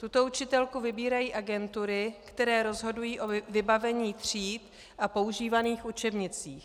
Tuto učitelku vybírají agentury, které rozhodují o vybavení tříd a používaných učebnicích.